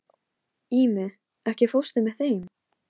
Hún ljómar í marga daga ef einhver gefur henni eitthvað.